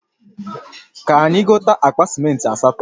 Ka anyi gote akpa simenti asato